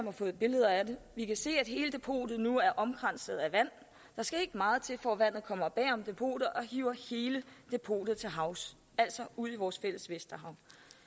har fået billeder af det vi kan se at hele depotet nu er omkranset af vand der skal ikke meget til for at vandet kommer bag om depotet og hiver hele depotet til havs altså ud i vores fælles vi et